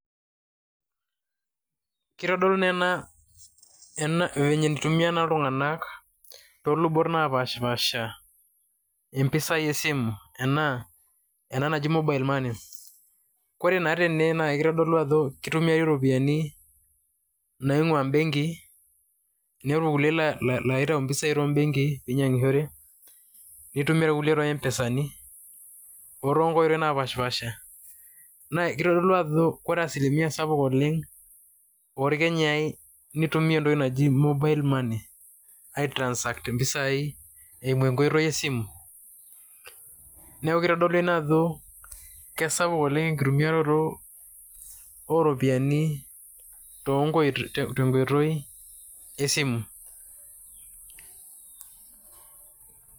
Kitodolu naa ena vyenye nitumia iltung'anak too lubot napaashipaasha impisai e simu ena naji mobile money. Kore naa tene kitodolu ajo kitumiari iropiani naing'ua imbenkii, ninepu irkuliek la laitau mpisai to mbenkii piinyang'ishore, nitumia irkuliek te mpesani o too nkoitoi napaashipaasha. Naa kitodolu ajo kore asilimia sapuk oleng' orkenyai nitumia entoki naji mobile money aitransact mpisai eimu enkoitoi esimu. Neeku kitodolu kesapuk oleng' enkitumiaroto o ropiani to nkoi te nkoitoi esimu.